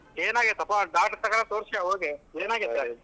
ಏನಾಗೈತಪ್ಪಾ doctor ತಕ ತೋರಿಸ್ಕ್ಯೊ ಹೋಗಿ ಏನಾಗೈತೆ?